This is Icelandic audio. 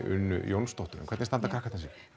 unnu Jónsdóttur en hvernig standa krakkarnir sig